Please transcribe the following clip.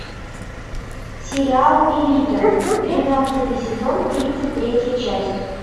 сериал элита тринадцатый сезон тридцать третья часть